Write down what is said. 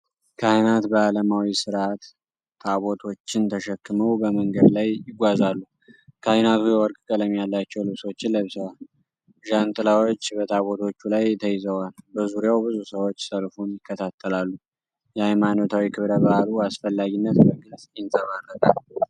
ካህናት በዓለማዊ ሥርዓት ታቦቶችን ተሸክመው በመንገድ ላይ ይጓዛሉ። ካህናቱ የወርቅ ቀለም ያላቸው ልብሶችን ለብሰዋል፤ ዣንጥላዎች በታቦቶቹ ላይ ተይዘዋል። በዙሪያው ብዙ ሰዎች ሰልፉን ይከታተላሉ። የሃይማኖታዊ ክብረ በዓሉ አስፈላጊነት በግልፅ ይንጸባረቃል።